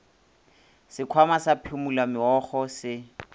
sekhwama sa phumula meokgo se